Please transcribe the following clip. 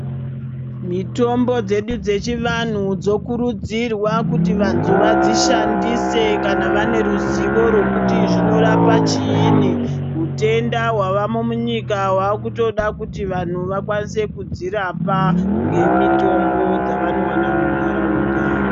Mitombo dzedu dzechivantu dzokurudzirwa kuti vantu vadzishandise kana vane ruzivo rwekuti zvinorapa chiini. Hutenda hwavamo munyika hwakutoda kuti vantu vakwanise kudzirapa ngemitombo dzavanowana muntaraunda.